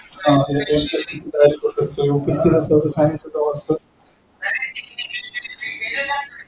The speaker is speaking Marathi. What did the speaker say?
हा तो MPSC ची तयारी करू शकतो